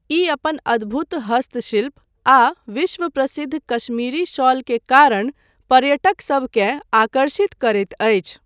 ई अपन अद्भुत हस्तशिल्प आ विश्व प्रसिद्ध काश्मीरी शॉल के कारण पर्यटकसबकेँ आकर्षित करैत अछि।